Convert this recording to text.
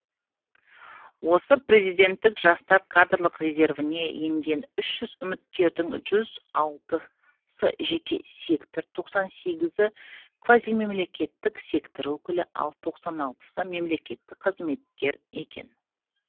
осы президенттік жастар кадрлық резервіне енген үш жүз үміткердің жүз алтысы жеке сектор тоқсан сегізі квазимемлекеттік сектор өкілі ал тоқсан алтысы мемлекеттік қызметкер екен